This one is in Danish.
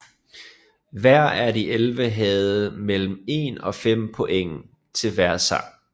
Hver af de 11 havde mellem 1 og 5 points til hver sang